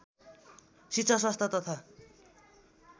शिक्षा स्वास्थ तथा